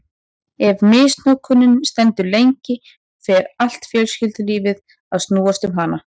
Ef misnotkunin stendur lengi fer allt fjölskyldulífið að snúast um hana.